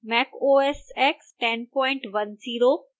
mac os x 1010 और